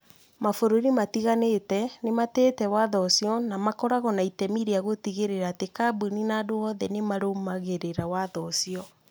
Mabũrũri matiganĩte nĩ matĩĩte watho ũcio na makoragwo na itemi rĩa gũtigĩrĩra atĩ kambuni na andũ oothe nĩ marũmagĩrĩra watho ũcio